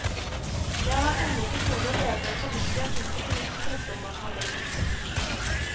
Jeg har ennå til gode å lese en fornuftig artikkel i norsk presse om matematikk.